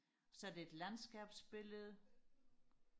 så er det et landskabsbillede